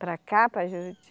Para cá, para Juriti?